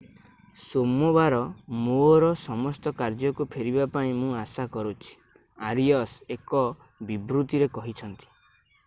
ସୋମବାର ମୋର ସମସ୍ତ କାର୍ଯ୍ୟକୁ ଫେରିବା ପାଇଁ ମୁଁ ଆଶା କରୁଛି ଆରିଅସ୍ ଏକ ବିବୃତିରେ କହିଛନ୍ତି